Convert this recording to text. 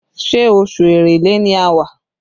Ṣé oṣù Èrèlé ni a wà?